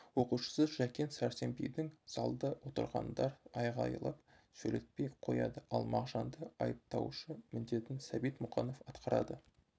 оқушысы жәкен сәрсенбинді залда отырғандар айғайлап сөйлетпей қояды ал мағжанды айыптаушы міндетін сәбит мұқанов атқарады